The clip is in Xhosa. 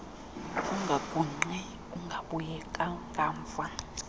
ungagungqi ungabuyi ngamva